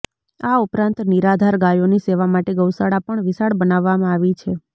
આ ઉપરાંત નિરાધાર ગાયોની સેવા માટે ગૌશાળા પણ વિશાળ બનાવવામાં આવી છે